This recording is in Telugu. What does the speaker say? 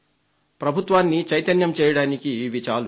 ప్రభుత్వాన్ని చైతన్యవంతం చేయడానికివి చాలు